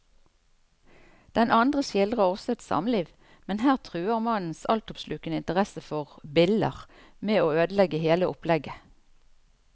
Den andre skildrer også et samliv, men her truer mannens altoppslukende interesse for biller med å ødelegge hele opplegget.